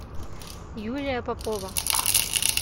юлия попова